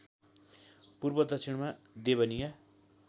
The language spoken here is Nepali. पूर्व दक्षिणमा देवनिया